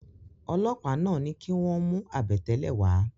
Ọlọ́pàá náà ní kí wọ́n mú àbẹ̀tẹ́lẹ̀ wá